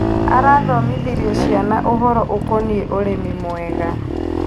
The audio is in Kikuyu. Arathomithirie ciana ũhoro ũkonie urĩmi mwega.